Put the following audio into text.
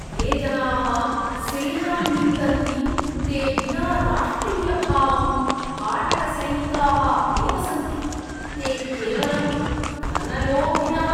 ये जनाः सेनां निन्दन्ति ते विना राष्ट्रियभावं भाटकसैनिकाः एव सन्ति। ते केवलं धनलोभिनः।